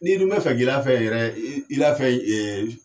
N'i dun mɛ fɛn k'i la fɛn yɛrɛ i la fɛn in